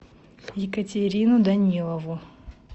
екатерину данилову